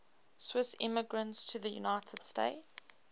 swiss immigrants to the united states